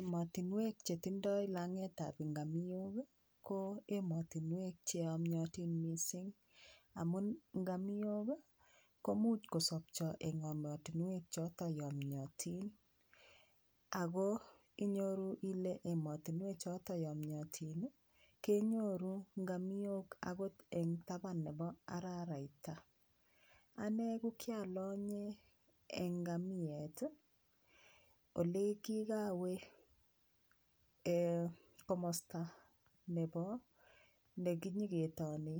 Emotinwek chetindoi langet ab ngamiok ko emotinwek cheyomyotin mising amun ngamiok komuch kosopcho eng emotinwek cho yomyotin ako inyoru ile emotinwek choto yomyotin kenyoru ngamiok akot eng taban nebo araraita ane ko kialonye ngamiet ole kikawe komosta nebo nekinyiketobeni